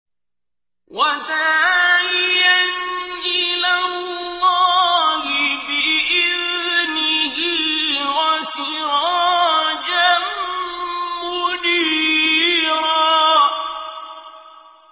وَدَاعِيًا إِلَى اللَّهِ بِإِذْنِهِ وَسِرَاجًا مُّنِيرًا